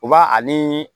U b'a ani